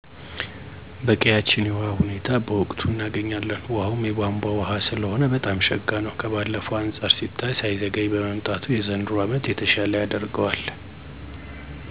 በቀያችን የውሀ ሁኔታ በወቅቱ እናገኛለን ውሀውም የቧንቧ ውሀ ሰለሆነ በጣም ሸጋ ነው። ከባለፈው አንፃር ሲታይ ሳይዘገይ መምጣቱ የዘንድሮ አመት የተሻለ ያደርገዋል። እንዴሁም የተበላሹ የውሀ ቱቦወችን በመቀየር በአዲስ እና ዘላቂ ቱቦወች ቢተካ መፍትሂ ይኖረዋል ብየ አስባለሁ።